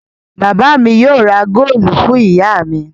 Bàbá mi yóò ra góólù fún ìyá mi.